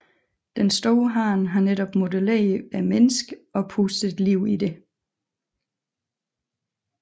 Den store hånd har netop modelleret mennesket og pustet liv i det